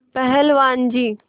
पहलवान जी